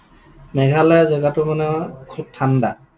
মেঘালয় জেগাটো মানে খুব ঠাণ্ডা?